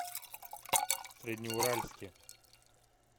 среднеуральске